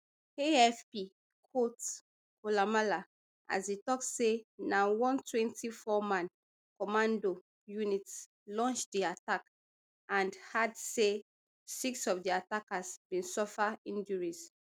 afp quote koulamallah as e tok say na one twenty-fourman commando unit launch di attack and add say six of the attackers bin suffer injuries